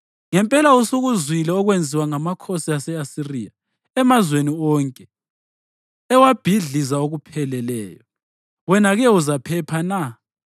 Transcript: Ngempela usukuzwile okwenziwa ngamakhosi ase-Asiriya emazweni wonke, ewabhidliza okupheleleyo. Wena-ke uzaphepha na?